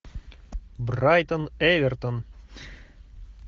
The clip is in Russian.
брайтон эвертон